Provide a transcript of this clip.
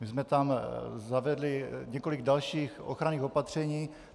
My jsme tam zavedli několik dalších ochranných opatření.